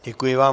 Děkuji vám.